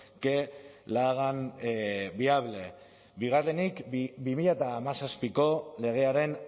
que la hagan viable bigarrenik bi mila hamazazpiko legearen